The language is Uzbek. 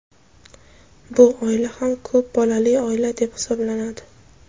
bu oila ham ko‘p bolali oila deb hisoblanadi.